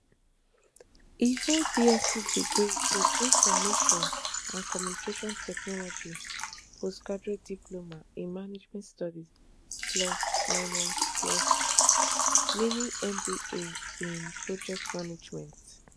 e hold bsc degree in information and communication technology post graduate diploma in management studies plus mini plus mini mba in project management